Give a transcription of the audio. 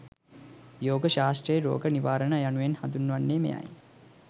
යෝග ශාස්ත්‍රයේ රෝග නිවාරණය යනුවෙන් හඳුන්වන්නේ මෙයයි.